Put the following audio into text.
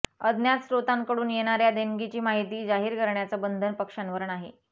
अज्ञात स्रोतांकडून येणाऱ्या देणगीची माहिती जाहीर करण्याचं बंधन पक्षांवर नाही